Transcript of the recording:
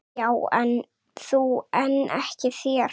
Já þú en ekki þér!